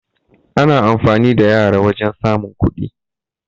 Ana amfani da yara wajan samun kuɗi